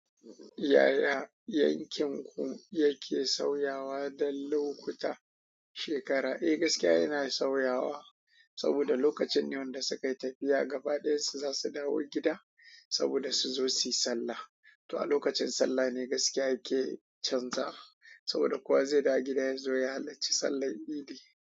Yaya yankin ku yake suayawa da lokuta shekara. Eh, gaskiya yana sauyawa saboda lokacine wanda suka yi tafiya gaba ɗaya su za su dawo gida saboda su zo su yi sallah. To a lokacin sallah ne gaskiya ke canza saboda kowa zai dawo gida yazo ya halarci sallan idi.